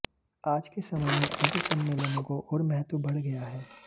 आज के समय में ऐसे सम्मेलनों को ओर महत्व बढ गया है